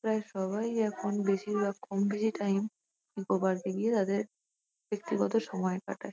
প্রায় সবাই এখন বেশিরভাগ কমবেশি টাইম নিকো পার্কে গিয়ে তাদের ব্যক্তিগত সময় কাটায়।